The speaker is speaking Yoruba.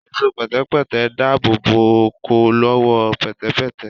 Ẹ̀ṣọ́ pẹ̀tẹ̀pẹ́tẹ̀ ń dáàbòbò ọkọ̀ lọ́wọ́ pẹ̀tẹ̀pẹ́tẹ̀